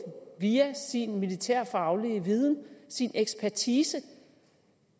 via sin militærfaglige viden sin ekspertise